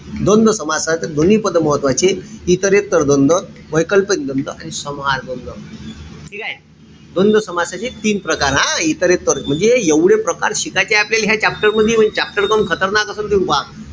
द्वंद्व समासात दोन्ही पद महत्वाचे. इतरेत्तर द्वंद्व, वैकल्पिक द्वंद्व आणि समाहार द्वंद्व. ठीकेय? द्वंद्व समासाचे तीन प्रकार हा इतरेत्तर म्हणजे एवढे प्रकार शिकायचे आपल्याले ह्या chapter मधी. म्हणजे chapter पण खतरनाक असन तुम्ही पहा.